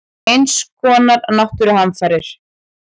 Eins konar náttúruhamfarir.